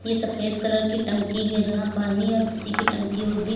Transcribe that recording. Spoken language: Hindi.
ये सफेद कलर की टंकी है जहां पानी या किसी की टंकी होगी।